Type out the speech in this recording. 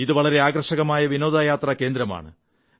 ഇത് വളരെ ആകർഷകമായ വിനോദസഞ്ചാര കേന്ദ്രമാണ്